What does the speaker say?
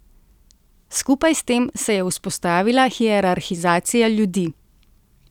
Skupaj s tem se je vzpostavila hierarhizacija ljudi.